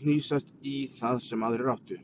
hnýsast í það sem aðrir áttu.